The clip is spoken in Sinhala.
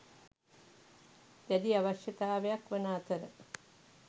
දැඩි අවශ්‍යතාවයක් වන අතර